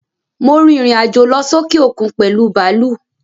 Mo rìrìn àjò lọ sókè òkun pèlú bàlúù.